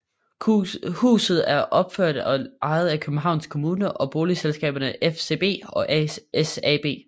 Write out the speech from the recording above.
Huset er opført og ejet af Københavns Kommune og boligselskaberne FSB og SAB